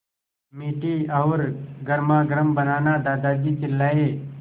मीठी और गर्मागर्म बनाना दादाजी चिल्लाए